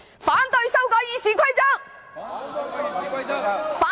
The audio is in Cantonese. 反對修改《議事規則》！